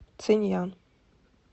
циньян